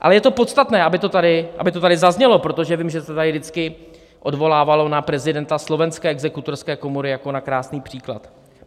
Ale je to podstatné, aby to tady zaznělo, protože vím, že se tady vždycky odvolávalo na prezidenta slovenské exekutorské komory jako na krásný příklad.